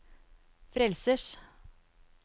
frelsers